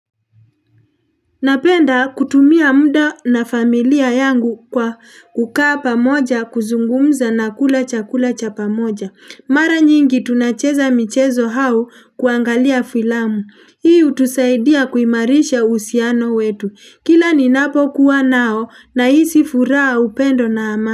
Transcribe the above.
Napenda kutumia mda na familia yangu kwa kukaa pamoja kuzungumza na kula cha kula cha pamoja mara nyingi tunacheza michezo hau kuangalia filamu hii hutusaidia kuimarisha uhusiano wetu kila ninapo kuwa nao nahisi furaha upendo na amani.